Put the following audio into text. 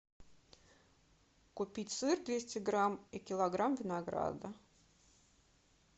купить сыр двести грамм и килограмм винограда